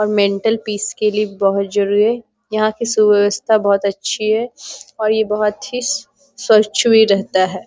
और mental peace के लिए भी बहुत जरुरी है | यहाँ की सुव्यवस्था बहुत अच्छी है और ये बहुत ही स्वच्छ भी रहता है |